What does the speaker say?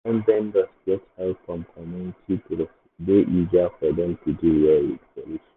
when vendors get help from community groups e dey easier for dem to deal well with police.